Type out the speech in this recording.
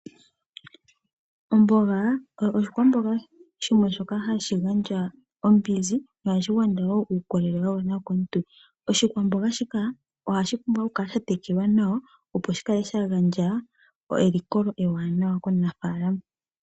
Omboga oshikwamboga shoka hashi gandja ombinzi nohashi gandja wo uukolele wa gwana kaantu. Oshikwamboga shike ohashi pumbwa oku kala sha tekelwa nawa opo shi kale sha gandja elikolo ewanawa komunafalama.